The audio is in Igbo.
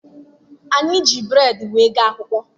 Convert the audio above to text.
Anyị ji bụreedị wee gaa akwụkwọ.